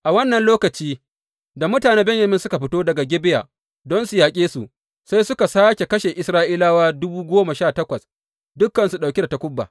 A wannan lokaci, da mutanen Benyamin suka fito daga Gibeya don su yaƙe su, sai suka sāke kashe Isra’ilawa dubu goma sha takwas, dukansu ɗauke da takuba.